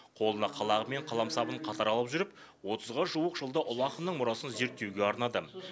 қолына қалағы мен қаламсабын қатар алып жүріп отызға жуық жылды ұлы ақынның мұрасын зерттеуге арнады